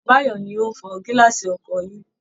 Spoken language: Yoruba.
Báyọ̀ ni ó ń fọ gílásì ọkọ̀ yín